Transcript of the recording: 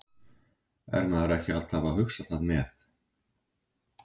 Er maður ekki alltaf að hugsa það með?